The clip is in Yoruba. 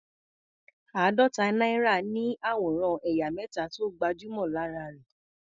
Àádọ́ta náírà ní àwòrán ẹ̀yà mẹ́ta tó gbajúmọ̀ lára rẹ̀.